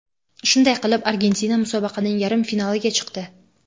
Shunday qilib, Argentina musobaqaning yarim finaliga chiqdi.